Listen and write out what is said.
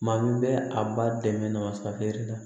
Maa min bɛ a ba dɛmɛ masakɛ la